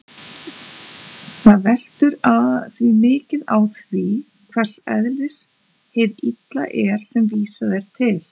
Það veltur því mikið á því hvers eðlis hið illa er sem vísað er til.